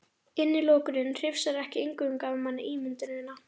Innilokunin hrifsar ekki eingöngu af manni ímyndunina.